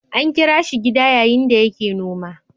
An kira shi gida yayin da yake noma.